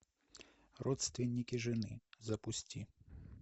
родственники жены запусти